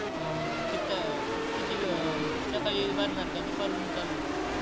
हा हा किती अं किती व सकाळी भरणार का दुपारहून चालू होणार आहे.